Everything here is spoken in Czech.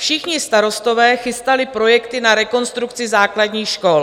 Všichni starostové chystali projekty na rekonstrukci základních škol.